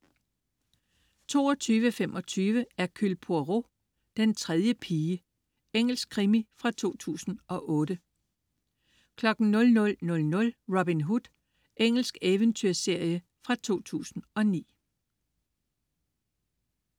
22.25 Hercule Poirot: Den tredje pige. Engelsk krimi fra 2008 00.00 Robin Hood. Engelsk eventyrserie fra 2009